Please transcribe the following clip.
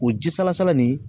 O ji salasala nin